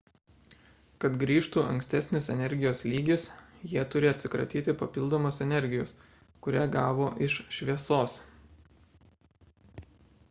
kad grįžtų ankstesnis energijos lygis jie turi atsikratyti papildomos energijos kurią gavo iš šviesos